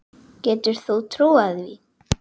Getur þú trúað því?